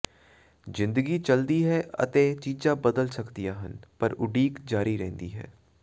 ਜ਼ਿੰਦਗੀ ਚਲਦੀ ਹੈ ਅਤੇ ਚੀਜ਼ਾਂ ਬਦਲ ਸਕਦੀਆਂ ਹਨ ਪਰ ਉਡੀਕ ਜਾਰੀ ਰਹਿੰਦੀ ਹੈ